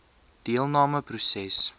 deelnam e proses